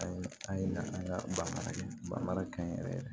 Ayi an ye an ka bara kɛ ba mara kaɲi yɛrɛ yɛrɛ